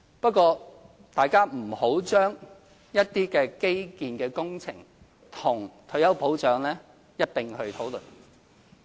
不過，大家不要將一些基建工程與退休保障一併討論。